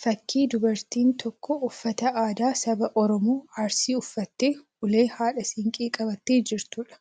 Fakkii dubartiin tokko uffata aadaa saba Oromoo Arsii uffattee ulee haadha siinqee qabattee jirtuudha.